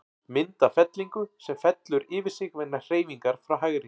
Mynd af fellingu, sem fellur yfir sig vegna hreyfingar frá hægri.